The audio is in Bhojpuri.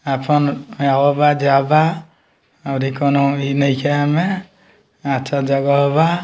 अउरी कउनो इ नइखे एमें अच्छा जगह बा।